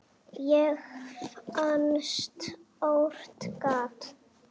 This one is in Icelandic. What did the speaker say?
Ég fann stórt gat.